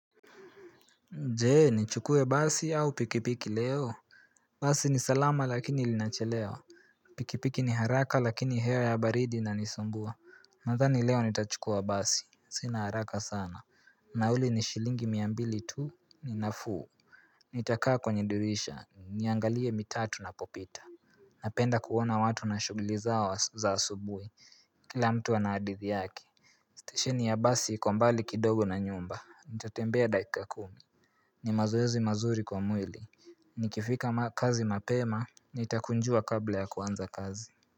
Je! Nichukue basi au pikipiki leo? Basi ni salama lakini linachelewa Pikipiki ni haraka lakini hewa ya baridi inanisumbua Nadhani leo nitachukua basi sina haraka sana Nauli ni shilingi mia mbili tu, ni nafuu Nitakaa kwenye dirisha niangalie mitaa tunapopita Napenda kuona watu na shuguli zao za asubuhi Kila mtu ana hadithi yake Stesheni ya basi iko mbali kidogo na nyumba nitatembea dakika kumi ni mazoezi mazuri kwa mwili nikifika makazi mapema nitakunjua kabla ya kuanza kazi.